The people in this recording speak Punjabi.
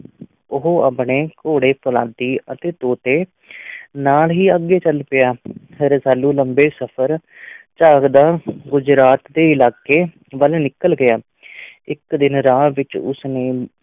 ਉਹ ਆਪਣੇ ਘੋੜੇ ਫ਼ੌਲਾਦੀ ਅਤੇ ਤੋਤੇ ਨਾਲ ਹੀ ਅੱਗੇ ਚੱਲ ਪਿਆ ਰਸਾਲੂ ਲੰਮੇ ਸਫ਼ਰ ਝਾਗਦਾ ਗੁਜਰਾਤ ਦੇ ਇਲਾਕੇ ਵੱਲ ਨਿਕਲ ਗਿਆ ਇੱਕ ਦਿਨ ਰਾਹ ਵਿੱਚ ਉਸ ਨੇ